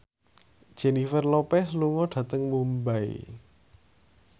Jennifer Lopez lunga dhateng Mumbai